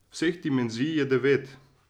Vseh dimenzij je devet.